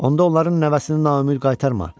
onda onların nəvəsini naümid qaytarma.